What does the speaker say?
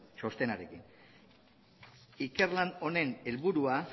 txostenarekin ikerlan honen helburua